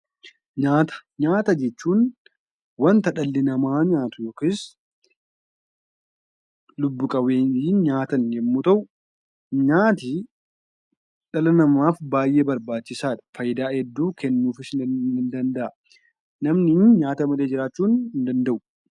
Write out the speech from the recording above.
Nyaata jechuun wanta dhalli namaa yookiin lubbu-qabeeyyiin nyaatan yommuu ta'u, nyaanni dhala namaaf baay'ee barbaachisaadha. Faayidaa hedduus kenna. Namnis nyaata malee jiraachuu hin danda'u.